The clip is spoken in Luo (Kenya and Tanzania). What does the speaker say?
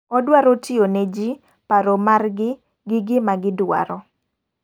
Odwaro tiyo ne ji, paro mar gi, gi gima gi dwaro.